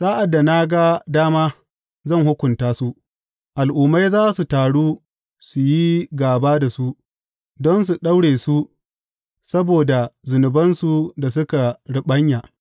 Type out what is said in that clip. Sa’ad da na ga dama, zan hukunta su; al’ummai za su taru su yi gāba da su don su daure su saboda zunubansu da suka riɓanya.